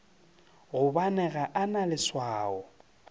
gobane ga o na leswao